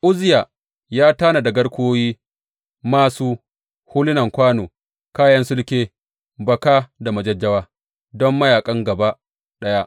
Uzziya ya tanada garkuwoyi, māsu, hulunan kwano, kayan sulke, baka da majajjawa don mayaƙan gaba ɗaya.